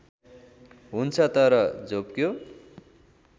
हुन्छ तर झोप्क्यो